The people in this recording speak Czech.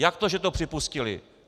Jak to, že to připustili?